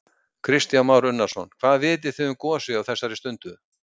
Kristján Már Unnarsson: Hvað vitið þið um gosið á þessari stundu?